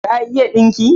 Ka iya dinki?